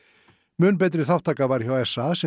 mun betri þátttaka var hjá s a sem